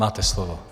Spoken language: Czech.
Máte slovo.